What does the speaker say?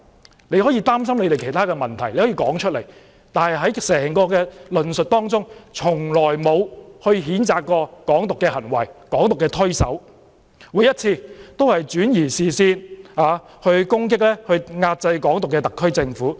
他們如果擔心其他問題，可以說出來，但在整個論述當中，從來沒有譴責"港獨"的行為、推手，每次只是轉移視線，攻擊遏制"港獨"的特區政府。